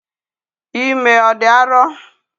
Ime ọ dị arọ?